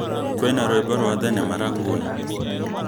kũina rwĩmbo rwa thenema rangoon